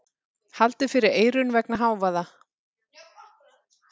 Haldið fyrir eyrun vegna hávaða.